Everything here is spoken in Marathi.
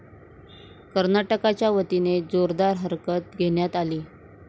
कर्नाटकाच्या वतीने जोरदार हरकत घेण्यात आली.